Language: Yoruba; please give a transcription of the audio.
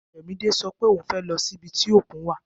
Ayomide sọ pé ohun fẹ lọ sí ibi tí òkun wà